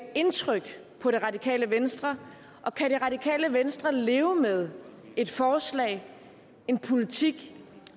indtryk på det radikale venstre og kan det radikale venstre leve med et forslag en politik